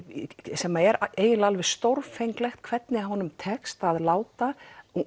sem er eiginlega alveg stórfenglegt hvernig honum tekst að láta